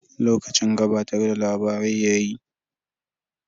Lokacin gabatar da labarai yayi.